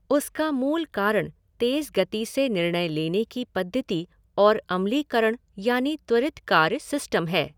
उसका मूल कारण तेज गति से निर्णय लेने कि पद्धति और अमलीकरण यानि त्वरीत कार्य सिस्टम है।